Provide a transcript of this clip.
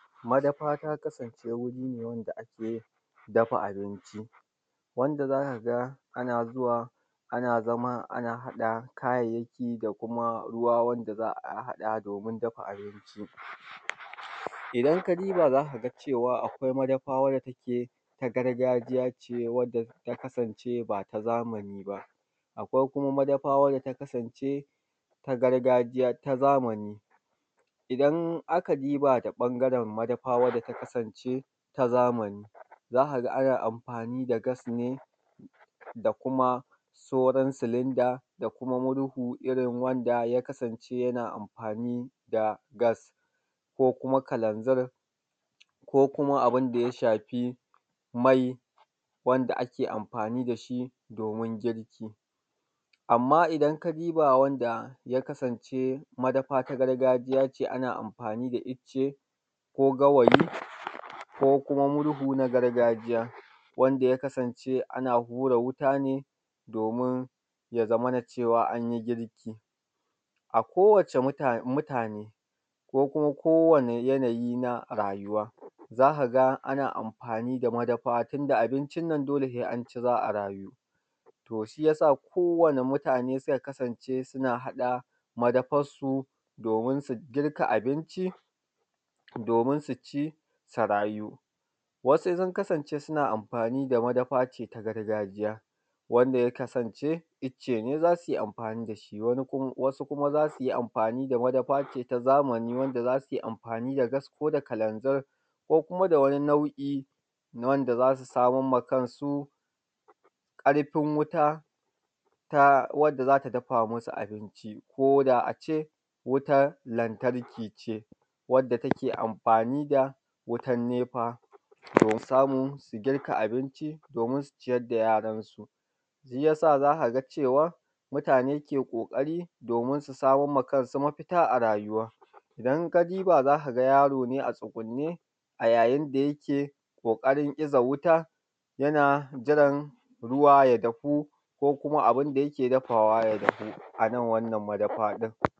Madafa ta kasance wuri ne wanda ake dafa abinci, wanda za ga ka ana zuwa ana, ana zama ana haɗa kayayyaki da kuma ruwa wanda za a haɗa wajan haɗa abinci. Idan ka diba za ka ga cewa akwai madafa wadda take ta gargajiya ce wadda ta kasance ba ta zamani ba. Akwai kuma madafa wanda ta kasance ta gargajiya ta zamani. Idan aka diba ta ɓangaren madafa wanda ta kasance ta zamani, za ka ga amfani da gas ne da kuma saura silinda, da kuma murhu irin wanda ya kasance yana amfani da gas ko kuma kalanzir, ko kuma abun da ya shafi kuma murhu wanda ya kasance ya na amfani da gas, ko kuma abunda ya shafi mai wanda ake amfani da shi domin girki. Amma idan ka duba wanda ya kasance madafa ta gargajiya ce ana amfani da icce, ko gawayi, ko kuma murhu na gargajiya wanda ya kasance ana hura wuta ne domin ya zamana cewa anyi girki. Ako wacce mutane ko kuma ko wane yanayi na rayuwa za ka ga ana amfani da madafa tunda abincin nan dole sai an ci za a rayu, shi yasa ko wane mutane suka kasance suna haɗa madafarsu domin su dafa abinci domin su ci su rayu. wasu sun kasance ne suna amfani da madafa ce ta gargajiya, wanda ya kasance icce ne za su yi amfani da shi, wasu kuma za su yi amfani da madafa ce na zamani wanda za su yi amfani da gas, ko da kalanzir, ko kuma da wani nau'in na wanda za su samar ma kansu ƙarfin wuta na wanda za ta dafa masu abinci, koda ace wutan lantarki ce wanda take amfani da wutan nefa su samu su girka abinci domin su ciyar da yaransu. Shi yasa za ka ga cewa mutane ke ƙoƙari domin su samar wa kansu mafita a rayuwan. Idan ka duba za ka ga yaro ne a tsugunne a yayin da yake ƙoƙarin iza wuta yana jiran ruwa ya dahu ko kuma abinda yake dafawa ya dahu.